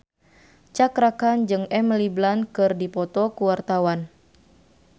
Cakra Khan jeung Emily Blunt keur dipoto ku wartawan